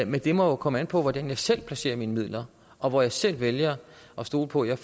men det må jo komme an på hvordan jeg selv placerer mine midler og hvor jeg selv vælger at stole på at jeg